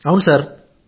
నీతేష్ గుప్తా ఔను